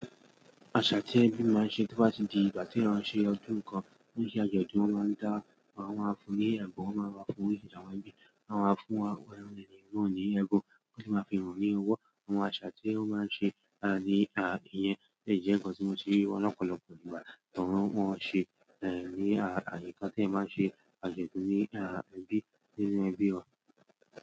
Àṣá tí ẹbí máa ń ṣe tó bá ti di ìgbà tí wọ́n ṣe ọdún kan, ó ń ṣe àjọ̀dún. Wọ́n máa ń dá, wọ́n máa fún ní ẹ̀bùn, wọ́n máa fún ní ìjàwé, wọ́n máa fún ẹni náà ní ẹbọ́, wọ́n sì máà fi ìràn ní owó. Àwọn àṣá tí wọ́n máa ń ṣe ní ìyẹn kọ̀ tí mo ti rí ọ̀pọ̀lọpọ̀ nígbà tó wọ́n ṣe ní àyíká tí ẹ máa ń ṣe àjọ̀dún ní ẹbí nínú ẹbí ọ.